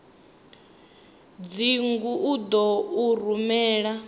dzingu u ḓo u rumela